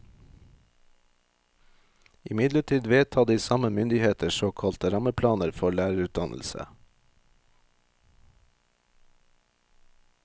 Imidlertid vedtar de samme myndigheter såkalte rammeplaner for lærerutdannelse.